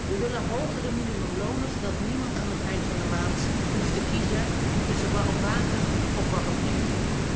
We willen hogere minimumlonen, zodat niemand aan het eind van de maand hoeft te kiezen tussen warm water of warm eten.